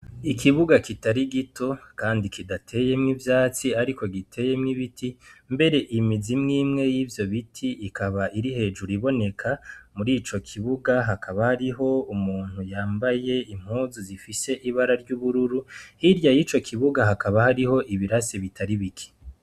Ikibuga kitari gito kandi kidateyemwo ivyatsi ariko giteyemwo ibiti mbere imizi imwimwe y'ivyo biti ikaba iri hejuru iboneka, mur'ico kibuga hakaba hariho umuntu yambaye impuzu zifise ibara ry'ubururu, hirya y'ico kibuga hakaba hariho ibirasi ataribike.